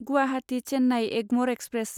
Guwahati Chennai Egmore express